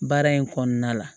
Baara in kɔnɔna la